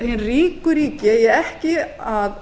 hin ríku ríki eigi ekki að